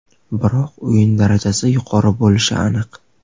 biroq o‘yin darajasi yuqori bo‘lishi aniq.